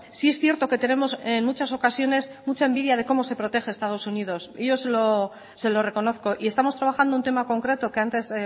sí es cierto que tenemos en muchas ocasiones mucha envidia de cómo se protege estados unidos y yo se lo reconozco y estamos trabajando un tema concreto que antes